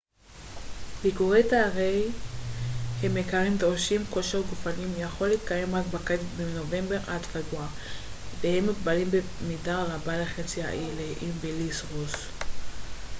ביקורי תיירים הם יקרים דורשים כושר גופני יכולים להתקיים רק בקיץ מנובמבר עד פברואר והם מוגבלים במידה רבה לחצי האי לאיים ולים רוס